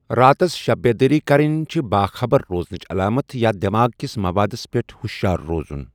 راتس شب بیدٲری کرٕنۍ چھِ باخَبر روزنٕچ علامت یا دٮ۪ماغ کِس مَوادس پٮ۪ٹھ ہُشیار روزُن۔